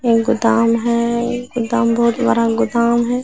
ये गोदाम है गोदाम बहुत बड़ा गोदाम है।